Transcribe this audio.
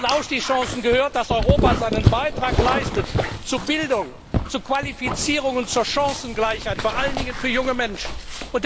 Und zu diesen Aufstiegschancen gehört, dass Europa seinen Beitrag zu Bildung, zu Qualifizierung und zur Chancengleichheit vor allen Dingen für junge Menschen leistet.